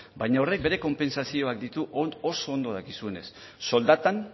baina horrek bere konpentsazioak ditu oso ondo dakizunez soldatan